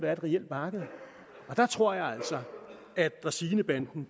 er et reelt marked og der tror jeg altså at dræsinebanden